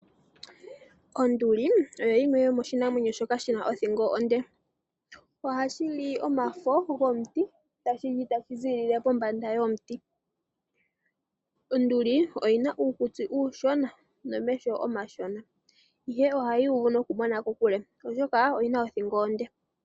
Ondili oyi yimwe yomoshinamwenyo shoka shina othingo onde. Ohashi li omafo gomuti tashi li tashi ziilile pombanda yomuti. Onduli oyina uukutsi uushona nomeho omashona ashike ohayi uvu kokule oshoka oyina othingo onde.